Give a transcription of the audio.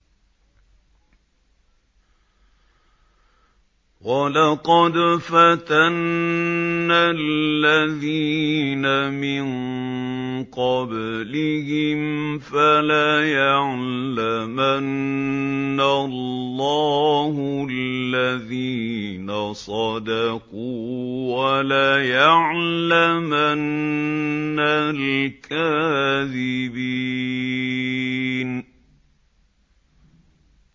وَلَقَدْ فَتَنَّا الَّذِينَ مِن قَبْلِهِمْ ۖ فَلَيَعْلَمَنَّ اللَّهُ الَّذِينَ صَدَقُوا وَلَيَعْلَمَنَّ الْكَاذِبِينَ